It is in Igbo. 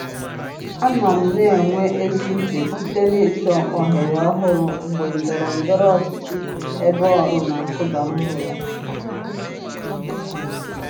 Anọ m na-enwe ezi uche site n'ịchọ ohere ọhụrụ mgbe ndọrọ ndọrọ ọchịchị ebe ọrụ na-akụda mmụọ.